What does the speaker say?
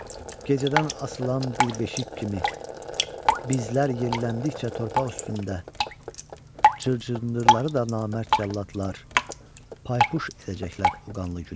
Gecədən asılan bir beşik kimi bizlər yelləndikcə torpaq üstündə cırcırdırıları da namərd cəllatlar paypuş edəcəklər o qanlı gündə.